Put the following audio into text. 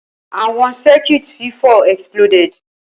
Awọn Circuit fifọ exploded.